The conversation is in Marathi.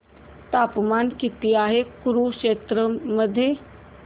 तापमान किती आहे कुरुक्षेत्र मध्ये